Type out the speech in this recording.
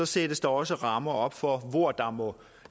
sættes der også rammer for hvor der må